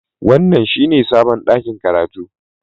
Wannan shine sabon ɗakin karatu